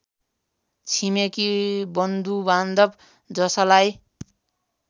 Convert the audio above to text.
छिमेकी बन्धुबान्धव जसलाई